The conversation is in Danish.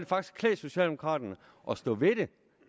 faktisk klæde socialdemokraterne at stå ved det